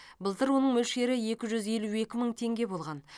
былтыр оның мөлшері екі жүз елу екі мың теңге болған